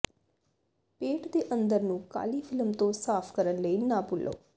ਪੇਟ ਦੇ ਅੰਦਰ ਨੂੰ ਕਾਲੀ ਫਿਲਮ ਤੋਂ ਸਾਫ਼ ਕਰਨ ਲਈ ਨਾ ਭੁੱਲੋ